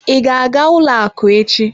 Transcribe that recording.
I ga-aga ụlọ akụ echi?